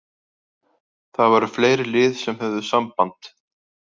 Það voru fleiri lið sem höfðu samband.